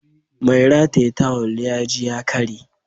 Mai rataye tawul ya ji ya karye